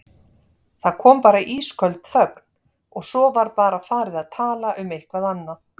Það kom bara ísköld þögn og svo var bara farið að tala um eitthvað annað.